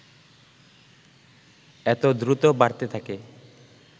এত দ্রুত বাড়তে থাকে